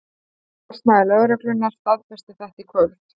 Talsmaður lögreglunnar staðfesti þetta í kvöld